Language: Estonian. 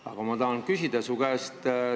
Aga ma tahan su käest ka küsida.